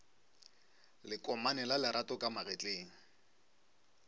lekomane la lerato ka magetleng